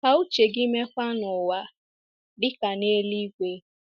Ka uche gị meekwa n’ụwa, dị ka n’eluigwe.